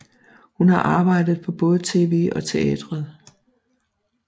Hun har arbejdet på både tv og teateret